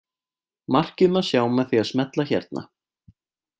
Markið má sjá með því að smella hérna.